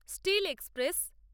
still express